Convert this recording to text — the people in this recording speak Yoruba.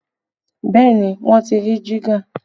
Bẹẹ ni, wọ́n ti rí jígà